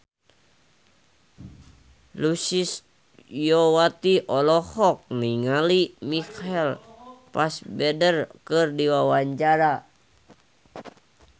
Sulistyowati olohok ningali Michael Fassbender keur diwawancara